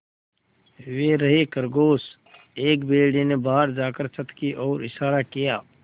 वे रहे खरगोश एक भेड़िए ने बाहर जाकर छत की ओर इशारा किया